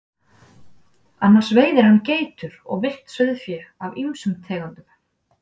Annars veiðir hann geitur og villt sauðfé af ýmsum tegundum.